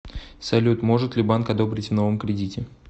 салют может ли банк одобрить в новом кредите